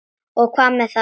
Og hvað með það, vinur?